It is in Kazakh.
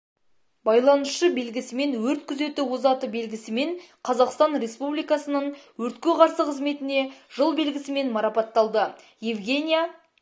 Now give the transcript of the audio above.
байланысшы белгісімен өрт күзеті озаты белгісімен қазақстан республикасының өртке қарсы қызметіне жыл белгісімен марапатталды евгения